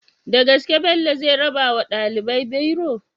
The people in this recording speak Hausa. Dagaske bello zai rabawa ɗalibai biro?